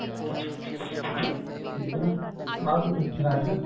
ਠੀਕ ਹੈ ਨਾ ਆਹ ਦਿਨਾ ਚ